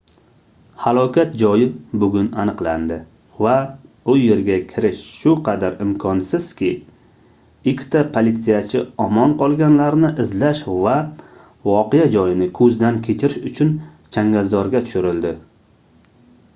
halokat joyi bugun aniqlandi va u yerga kirish shu qadar imkonsizki ikkita politsiyachi omon qolganlarni izlash va voqea joyini koʻzdan kechirish uchun changalzorga tushirildi